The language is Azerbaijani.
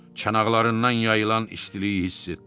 Çanaqlarından yayılan istiliyi hiss etdi.